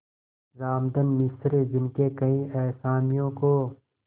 रामधन मिश्र जिनके कई असामियों को